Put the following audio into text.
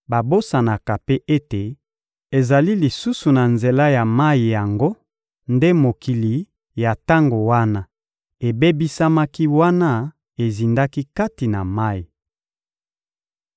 Babosanaka mpe ete ezali lisusu na nzela ya mayi yango nde mokili ya tango wana ebebisamaki wana ezindaki kati na mayi.